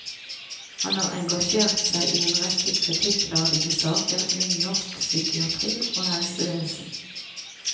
Han har engasjert seg i en rekke kritikkverdige saker innen norsk psykiatri og helsevesen.